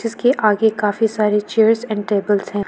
इसके आगे काफी सारी चेयर्स एंड टेबलस हैं।